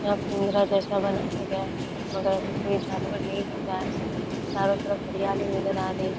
यह जैसा बनाया गया है मगर अभी कोई जानवर नहीं दिख रहा है। चारो तरफ हरियाली नज़र आ रही है।